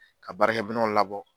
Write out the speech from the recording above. Ka barakɛ mɛnw labɔ